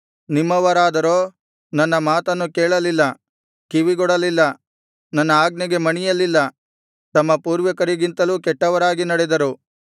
ನಿಮ್ಮವರಾದರೋ ನನ್ನ ಮಾತನ್ನು ಕೇಳಲಿಲ್ಲ ಕಿವಿಗೊಡಲಿಲ್ಲ ನನ್ನ ಆಜ್ಞೆಗೆ ಮಣಿಯಲಿಲ್ಲ ತಮ್ಮ ಪೂರ್ವಿಕರಿಗಿಂತಲೂ ಕೆಟ್ಟವರಾಗಿ ನಡೆದರು